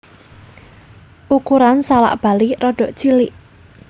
Ukuran salak Bali rada cilik